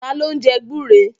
Taló ń jẹ gbúre?